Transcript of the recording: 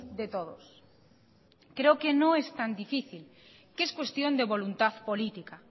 de todos creo que no es tan difícil que es cuestión de voluntad política